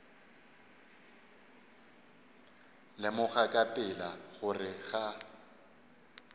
lemoga ka pela gore ga